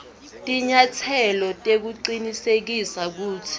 tinyatselo tekucinisekisa kutsi